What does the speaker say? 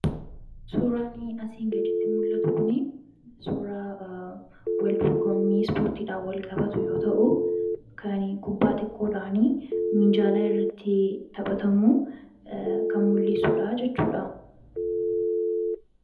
suuraani asiin gaditti mul'atu kun suuraa waldurgommii spoortiidha wal-qabatu yoo ta'u kan kubbaa xiqqoodhaanii miinjaalaa irratti taphatamu kan mul'issuudha jechuudha